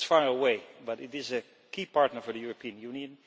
It is far away, but it is a key partner for the European Union.